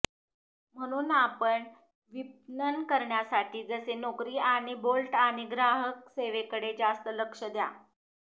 म्हणून आपण विपणन करण्यासाठी जसे नोकरी आणि बोल्ट आणि ग्राहक सेवेकडे जास्त लक्ष द्या